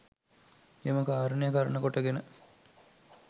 එම කාරණය කරණ කොට ගෙන